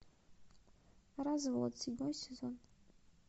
развод седьмой сезон